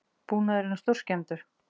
Búnaðurinn er stórskemmdur